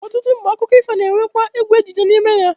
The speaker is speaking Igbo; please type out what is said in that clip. Ọtụtụ mgbe, akụkọ ifo na-anwekwa egwu ejije n'ime ya